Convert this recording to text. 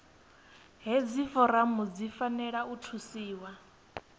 hedzi foramu dzi fanela u thusiwa